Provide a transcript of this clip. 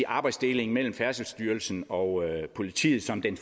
arbejdsdelingen mellem færdselsstyrelsen og politiet som den